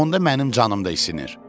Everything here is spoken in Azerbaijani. Onda mənim canım da isinir.